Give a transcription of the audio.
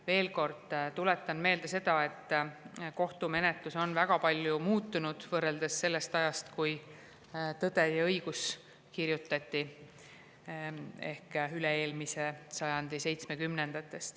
Veel kord tuletan meelde seda, et kohtumenetlus on väga palju muutunud võrreldes selle ajaga, "Tõe ja õiguse" kirjutati, ehk siis üle-eelmise sajandi seitsmekümnendatega.